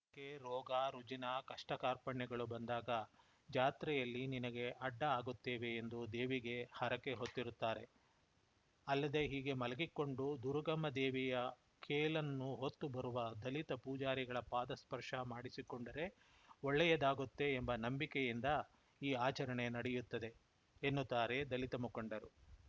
ಹರಕೆ ರೋಗ ರುಜಿನ ಕಷ್ಟಕಾರ್ಪಣ್ಯಗಳು ಬಂದಾಗ ಜಾತ್ರೆಯಲ್ಲಿ ನಿನಗೆ ಅಡ್ಡ ಆಗುತ್ತೇವೆ ಎಂದು ದೇವಿಗೆ ಹರಕೆ ಹೊತ್ತಿರುತ್ತಾರೆ ಅಲ್ಲದೇ ಹೀಗೆ ಮಲಗಿಕೊಂಡು ದುರುಗಮ್ಮ ದೇವಿಯ ಕೇಲನ್ನು ಹೊತ್ತು ಬರುವ ದಲಿತ ಪೂಜಾರಿಗಳ ಪಾದ ಸ್ಪರ್ಶ ಮಾಡಿಸಿಕೊಂಡರೆ ಒಳ್ಳೆಯದಾಗುತ್ತೆ ಎಂಬ ನಂಬಿಕೆಯಿಂದ ಈ ಆಚರಣೆ ನಡೆಯುತ್ತದೆ ಎನ್ನುತ್ತಾರೆ ದಲಿತ ಮುಖಂಡರು